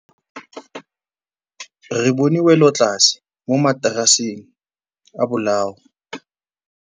Re bone wêlôtlasê mo mataraseng a bolaô.